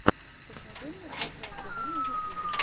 покажи мне торгай тв на ютюбе